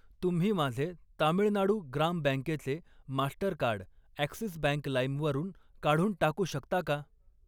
तुम्ही माझे तामिळनाडू ग्राम बँकेचे मास्टरकार्ड ॲक्सिस बँक लाईम वरून काढून टाकू शकता का?